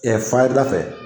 fayiri da fɛ.